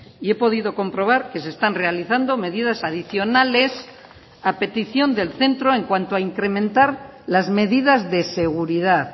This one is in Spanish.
y he podido comprobar que se están realizando medidas adicionales a petición del centro en cuanto a incrementar las medidas de seguridad